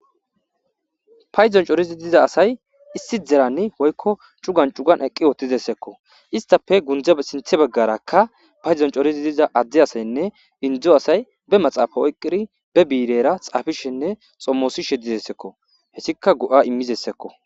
Paydon coridi diza asay issi derani woyko cugan cugan eqi uttideseko istappe sinthe bagaraka paydo coridi doza added asaynne indo asay woraqata oykidinne ba biirera xaafishe xomosishe de'izaysako hesika go'a immizaysako.